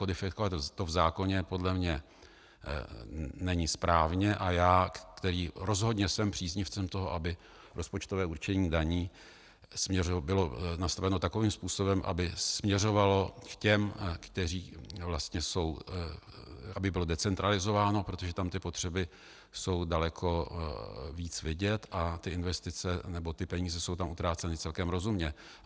Kodifikovat to v zákoně podle mě není správné a já, který rozhodně jsem příznivcem toho, aby rozpočtové určení daní bylo nastaveno takovým způsobem, aby směřovalo k těm, kteří vlastně jsou - aby bylo decentralizováno, protože tam ty potřeby jsou daleko víc vidět a ty investice, nebo ty peníze jsou tam utráceny celkem rozumně.